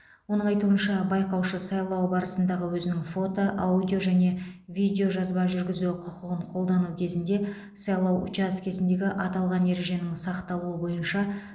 оның айтуынша байқаушы сайлау барысындағы өзінің фото аудио және видеожазба жүргізу құқығын қолдану кезінде сайлау учаскесіндегі аталған ереженің сақталуы бойынша